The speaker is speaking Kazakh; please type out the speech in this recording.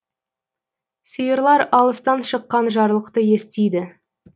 сиырлар алыстан шыққан жарлықты естиді